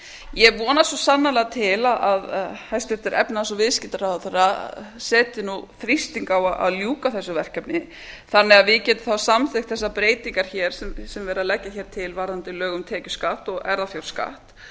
ég vonast svo sannarlega til að hæstvirtur efnahags og viðskiptaráðherra setji þrýsting á að ljúka þessu verkefni þannig að við getum samþykkt þessar breytingar sem verið er að leggja til varðandi lög um tekjuskatt og erfðafjárskatt